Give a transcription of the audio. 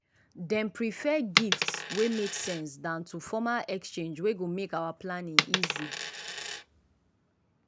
dem prefer gifts wey make sense than to formal exchange wey go make our planning easy.